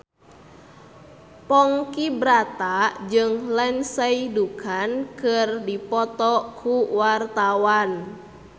Ponky Brata jeung Lindsay Ducan keur dipoto ku wartawan